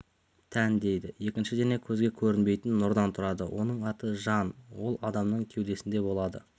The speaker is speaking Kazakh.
тән дейді екінші дене көзге көрінбейтін нұрдан тұрады оның аты жан ол адамның кеудесінде болады